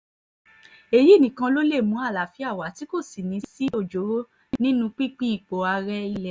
èyí nìkan ló lè mú àlàáfíà wa tí kò sì ní í sí ọjọ́ọ́rọ́ nínú pínpín ipò ààrẹ ilé wa